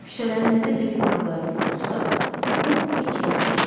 Küçələrinizdə zibil qabları yoxdursa, bu heç yaxşı deyil.